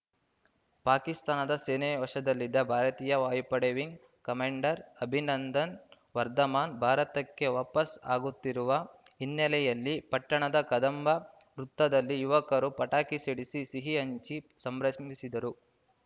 ಪಾಕಿಸ್ತಾನದ ಸೇನೆ ವಶದಲ್ಲಿದ್ದ ಭಾರತೀಯ ವಾಯುಪಡೆ ವಿಂಗ್‌ ಕಮಾಂಡರ್‌ ಅಭಿನಂದನ್‌ ವರ್ಧಮಾನ್‌ ಭಾರತಕ್ಕೆ ವಾಪಸ್‌ ಆಗುತ್ತಿರುವ ಹಿನ್ನೆಲೆಯಲ್ಲಿ ಪಟ್ಟಣದ ಕದಂಬ ವೃತ್ತದಲ್ಲಿ ಯುವಕರು ಪಟಾಕಿ ಸಿಡಿಸಿ ಸಿಹಿ ಹಂಚಿ ಸಂಭ್ರಸಿಮಿಸಿದರು